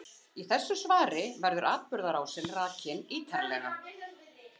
Í þessu svari verður atburðarásin rakin ítarlega.